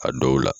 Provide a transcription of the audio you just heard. A dɔw la